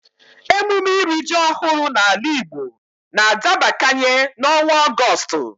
Emume iri ji ọhụrụ n'ala Igbo n'adabakanye n'ọnwa Ọgọstụ